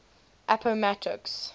appomattox